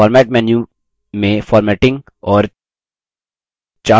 format menu में formatting और